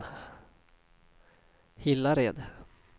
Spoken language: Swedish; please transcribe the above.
Hillared